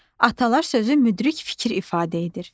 Atalar sözü müdrik fikir ifadə edir.